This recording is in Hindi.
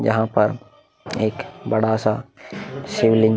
यहा पर एक बड़ा सा शिवलिंग --